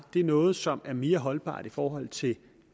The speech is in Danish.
bliver noget som er mere holdbart i forhold til